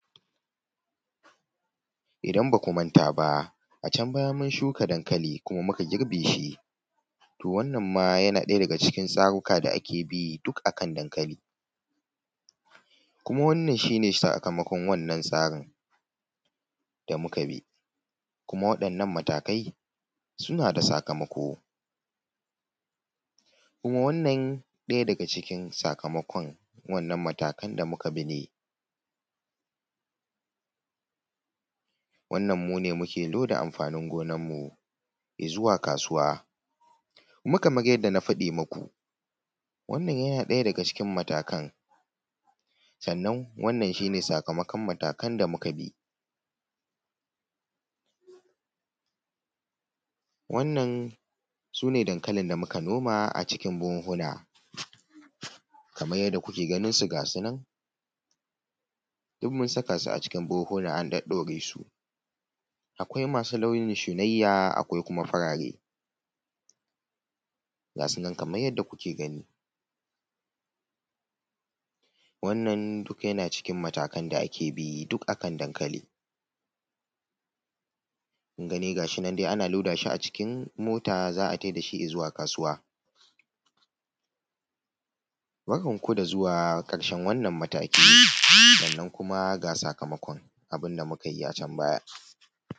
Idan ba ku manta ba, mun shuka dankali kuma muka girbe shi to wannan ma yana ɗaya daga cikin tsaruka da ake bi duk a kan dankali Kuma, wannan shi ne sakamakon wannan tsarin da muka bi kuma waɗannan matakai, suna da sakamako Kuma wannan ɗaya daga cikin sakamakon wannan matakan da muka bi ne Wannan mu ne muke loda amfanin gonanmu ya zuwa kasuwa Kuma kamar yarda na faɗi maku, wannan yana ɗaya daga cikin matakan sannan, wannan shi ne sakamakon matakan da muka bi. Wannan su ne dankalin da muka noma a cikin buhunhuna kamar yadda kuke ganin su ga su nan duk mun saka su a cikin buhunhuna an ɗaɗɗaure su Akwai masu launi na shunayya, akwai kuma farare ga su nan kamay yadda ku ke gani Wannan duka yana cikin matakan da ake bi duk a kan dankali Kun gani? Ga shi nan de ana loda shi a cikin mota za a tai da shi i zuwa kasuwa Barkan ku da zuwa ƙarshen wannan mataki, sannan kuma ga sakamakon abin da muka yi a can baya.